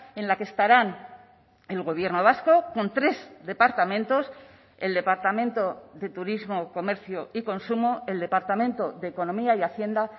en la que estarán el gobierno vasco con tres departamentos el departamento de turismo comercio y consumo el departamento de economía y hacienda